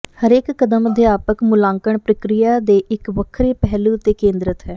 ਹਰੇਕ ਕਦਮ ਅਧਿਆਪਕ ਮੁਲਾਂਕਣ ਪ੍ਰਕਿਰਿਆ ਦੇ ਇੱਕ ਵੱਖਰੇ ਪਹਿਲੂ ਤੇ ਕੇਂਦਰਤ ਹੈ